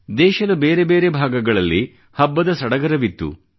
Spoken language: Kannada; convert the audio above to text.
ದೇಶದ ಬೇರೆ ಬೇರೆ ಭಾಗಗಳಲ್ಲಿ ಹಬ್ಬದ ಸಡಗರವಿತ್ತು